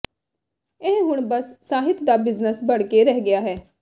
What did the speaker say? ਇਹ ਹੁਣ ਬਸ ਸਾਹਿਤ ਦਾ ਬਿਜ਼ਨਸ ਬਣ ਕੇ ਰਹਿ ਗਿਆ ਹੈ